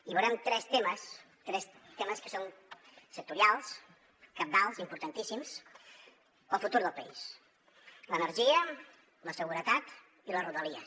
i veurem tres temes tres temes que són sectorials cabdals importantíssims per al futur del país l’energia la seguretat i les rodalies